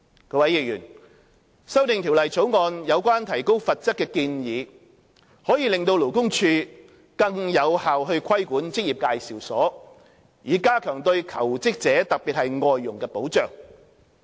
各位議員，《條例草案》有關提高罰則的建議可令勞工處更有效規管職業介紹所，以加強對求職者特別是外傭的保障。